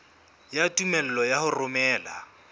ya tumello ya ho romela